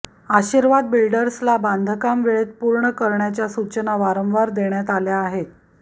आशिर्वाद बिल्डर्सला बांधकाम वेळेत पूर्ण करण्याच्या सूचना वांरवार देण्यात आल्या आहे